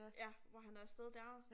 Ja hvor han er af sted dér